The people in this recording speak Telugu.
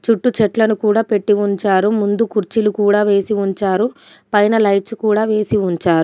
చుట్టూ చెట్లను కూడా పెట్టి ఉంచారు. ముందు కుర్చీలు కూడా వేసి ఉంచారు. పైన లైట్స్ కూడా వేసి ఉంచారు.